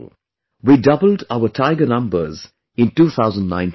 We doubled our tiger numbers in 2019 itself